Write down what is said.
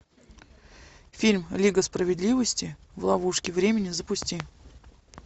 фильм лига справедливости в ловушке времени запусти